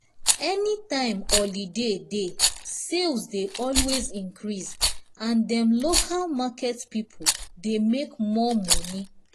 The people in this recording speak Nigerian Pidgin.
any time holiday dey sales dey always increase and dem local market people dey make more money